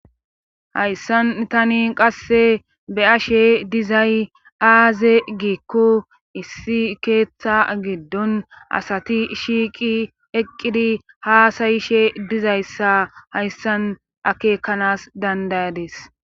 Hayssan tani qasse be ashe dizay aaze giikko issi keeththa giddon asati shiiqi eqqidi haasayishe dizayssa hayssan akekanas dandayades.